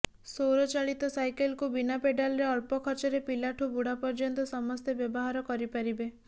ସୌର ଚାଳିତ ସାଇକେଲକୁ ବିନା ପେଡାଲରେ ଅଳ୍ପ ଖର୍ଚ୍ଚରେ ପିଲାଠୁ ବୁଢା ପର୍ଯ୍ୟନ୍ତ ସମସ୍ତେ ବ୍ୟବହାର କରିପାରିବେ